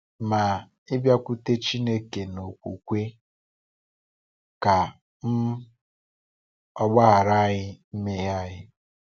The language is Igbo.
Ma ịbịakwute Chineke n’okwukwe, ka um Ọ gbaghara anyị mmehie anyị.